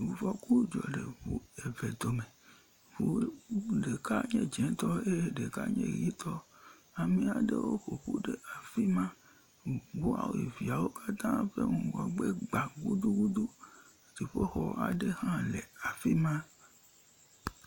Ŋufɔku dzɔ le eŋu eve dome. Ŋu ɖeka nye dzɛ̃tɔ eye ɖeka nye ʋetɔ. Ame aɖewo ƒoƒu ɖe afi ma. Ŋu woame eveawo katã ƒe ŋgɔgbe gbã gudugudu. Dziƒoxɔ aɖewo hã le afi ma.